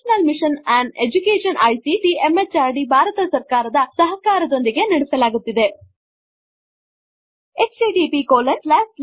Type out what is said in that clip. National Mission on education ICT MHRD Bharat ಸರ್ಕಾರ ದ ಸಹಕಾರದೊಂದಿಗೆ ನಡೆಸಲಾಗುತ್ತಿದೆ ಈ ಪ್ರಾಜೆಕ್ಟ್ ಅನ್ನು ಏರ್ಪಡಿಸಿದವರು httpspoken tutorialorg